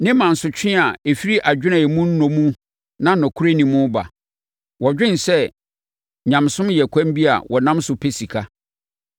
ne mansotwe a ɛfiri adwene a emu nnɔ mu na nokorɛ nni mu ba. Wɔdwene sɛ nyamesom yɛ kwan bi a wɔnam so pɛ sika.